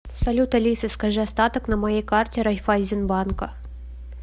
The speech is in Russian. салют алиса скажи остаток на моей карте райффайзенбанка